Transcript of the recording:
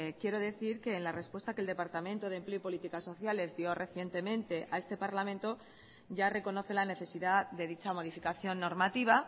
quiero decir que en la respuesta que el departamento de empleo y políticas sociales dio recientemente a este parlamento ya reconoce la necesidad de dicha modificación normativa